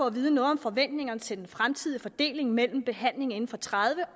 at vide om forventningerne til den fremtidige fordeling mellem behandling inden for tredive